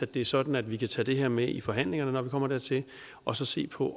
det er sådan at vi kan tage det her med i forhandlingerne når vi kommer dertil og så se på